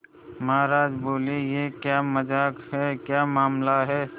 महाराज बोले यह क्या मजाक है क्या मामला है